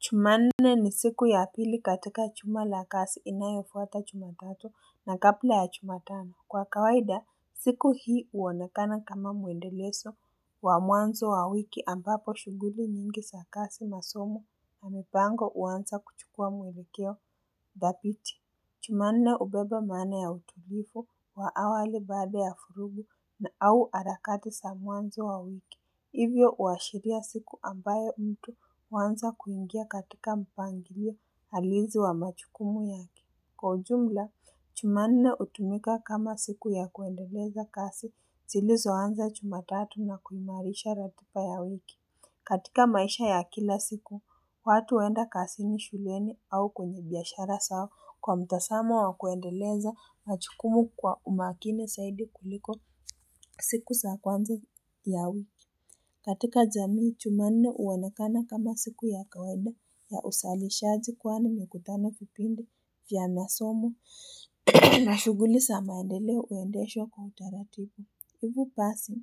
Jumanne ni siku ya pili katika juma lakasi inayofuata chumatatu na kapla ya chuma tano Kwa kawaida siku hii uonekana kama muendeleso wa mwanzo wa wiki ambapo shuguli nyingi sa kasi na somo na mipango uansa kuchukua mwerekeo ndapiti Chumane ubeba mana ya utulifu wa awali baada ya furugu na au alakati sa mwanzo wa wiki Hivyo uwashiria siku ambaye mtu wanza kuingia katika mpangilio halizi wa machukumu yaki. Kwa ujumla, chumanine utumika kama siku ya kuendeleza kasi, silizo wanza chuma tatu na kulinarisha ratupa ya wiki. Katika maisha ya kila siku, watu huwenda kasi ni shuleni au kwenye biashara sawo kwa mtasama wa kuendeleza machukumu kwa umakini saidi kuliko siku saakwanza ya wiki. Katika zamii chumane uwanakana kama siku ya kwaweba ya usali shaji kwana mekutana kupimbo ya nasomo na shuguli samaendele uendeesho kwa utarativu huku pasi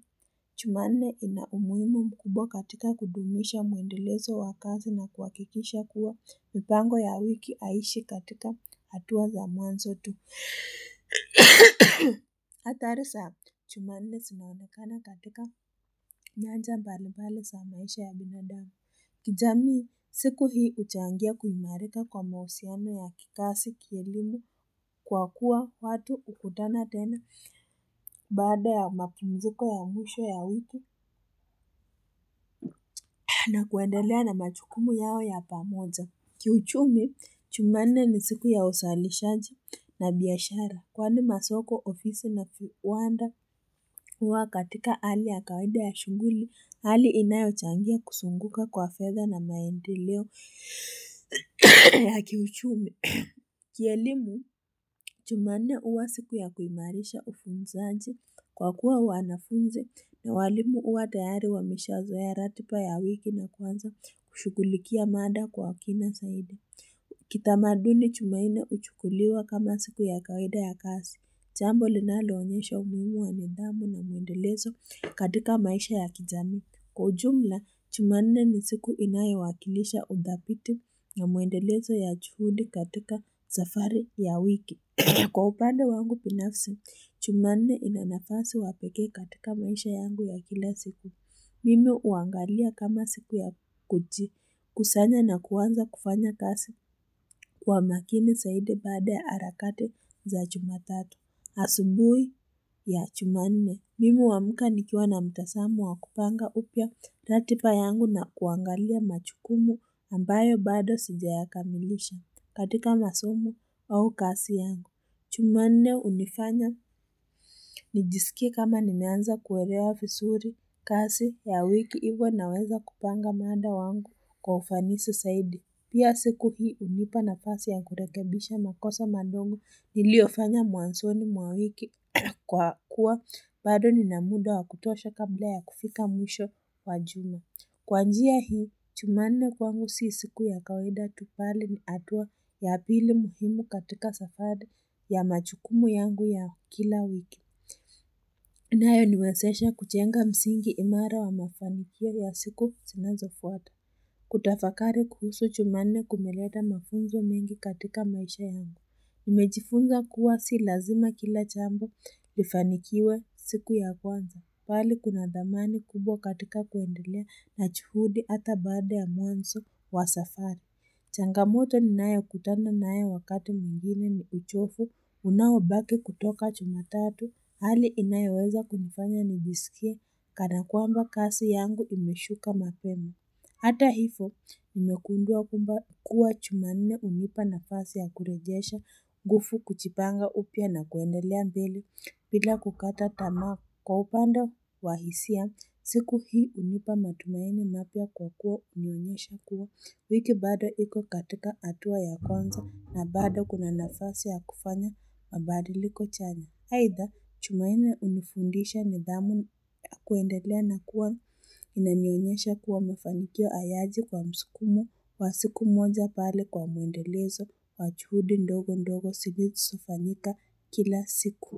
chumane ina umuimu mkubo katika kudumisha muendelezo wakazi na kuwakikisha kuwa mpango ya wiki aishi katika hatuwa za manzo tu Atari za, jumanne simamekana katika nyanja mbalibali sa mawesha ya binadami kijami siku hii uchangia kuimareka kwa mahusiano ya kikasi kilimu Kwa kuwa watu ukutana tena bada ya makimzuko ya mwesha ya wiku na kuendelea na majukumu yao ya pamoja Kiuchumi, jumanne ni siku ya usalishaji na biashara Kwa ni masoko ofisi na kiwanda uwa katika hali ya kawede ya shunguli, hali inayo changia kusunguka kwa fedha na maendi leo ya kiuchumi. Kielimu, jumanne uwa siku ya kuimarisha ufunzaji kwa kuwa wanafunzi na walimu uwa tayari wa mishazo ya ratipa ya wiki na kwanza kushukulikia mada kwa wakina zaidi. Kitamaduni jumaine uchukuliwa kama siku ya kawaida ya kazi. Jambo linalo onyesha umuhimu wa nidhamu na muendelezo katika maisha ya kijami. Kwa ujumla, jumanne ni siku inayo wakilisha udhabiti na muendelezo ya juhudi katika zafari ya wiki. Kwa upande wangu binafsi, chumaine inanafasi wapeke katika maisha yangu ya kila siku. Mimi uangalia kama siku ya kujiki kusanya na kuwanza kufanya kasi kwa makini zaidi bada ya harakati za jumatatu. Asubuhi ya jumanne. Mimu wamuka nikua na mtasamu wa kupanga upya ratipa yangu na kuangalia machukumu ambayo bado sija ya kamilisha katika masomu au kasi yangu. Jumanne unifanya nijisikie kama nimeanza kuwelewa fisuri kasi ya wiki igwa naweza kupanga maanda wangu kwa ufanisi saidi Pia siku hii unipa na pasi ya kurekebisha makosa mandongo niliofanya muwansonu mawiki kwa kuwa bado ninamuda wa kutosha kabla ya kufika mwisho wa juma Kwa njia hii, jumanne kwangu si siku ya kawaida bali ni hatua ya pili muhimu katika safari ya majukumu yangu ya kila wiki. Inayo niwesesha kuchenga msingi imara wa mafanikio ya siku sinazo fwata. Kutafakari kuhusu jumanne kumeleta mafunzo mengi katika maisha yangu. Nimejifunza kuwa si lazima kila jambo lifanikiwe siku ya kwanza bali kuna damani kubwa katika kuendelea na juhudi hata baada ya mwanzo wa safari changamoto ni nayo kutana nayo wakati mwingine ni uchovu Unaobaki kutoka jumatatu hali inayoweza kumfanya nijisikia Kana kuamba kasi yangu imeshuka mapema Hata hivyo, imegundua kwamba kuwa jumanne hunipa nafasi ya kurejesha gufu kuchipanga upia na kuendelea mbeli, pila kukata tama kwa upanda wahisia, siku hii unipa matumainu napia kwa kuwa unyonesha kuwa, wiki bado hiko katika atua ya konza na bado kuna nafasi ya kufanya mabadiliko chani. Haitha, chumayine unifundisha ni dhamu akuendelea na kuwa inanyanyesha kuwa mefanikio ayaji kwa msukumo wa siku moja bali kwa mwendelezo wa chuhudi ndogo ndogo sigiti sufanika kila siku.